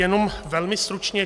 Jenom velmi stručně.